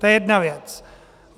To je jedna věc.